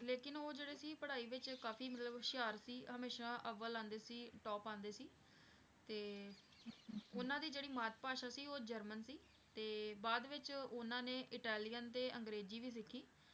ਲੇਕਿੰਨ ਉਹ ਜਿਹੜੇ ਸੀ ਪੜ੍ਹਾਈ ਵਿੱਚ ਕਾਫ਼ੀ ਮਤਲਬ ਹੁਸ਼ਿਆਰ ਸੀ, ਹਮੇਸ਼ਾ ਅਵਲ ਆਉਂਦੇ ਸੀ top ਆਉਂਦੇ ਸੀ, ਤੇ ਉਨ੍ਹਾਂ ਦੀ ਜਿਹੜੀ ਮਾਤ-ਭਾਸ਼ਾ ਸੀ ਉਹ ਜਰਮਨ ਸੀ ਤੇ ਬਾਅਦ ਵਿੱਚ ਉਨ੍ਹਾਂ ਨੇ ਇਟਾਲੀਅਨ ਤੇ ਅੰਗਰੇਜ਼ੀ ਵੀ ਸਿੱਖੀ।